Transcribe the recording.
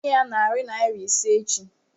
Aga m enye ya narị naịra ise echi.